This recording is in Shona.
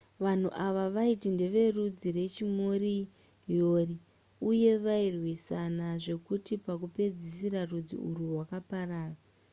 vanhu ava vaiti ndeverudzi rwechimoriori uye vairwisana zvekuti pakupedzisira rudzi urwu rwakaparara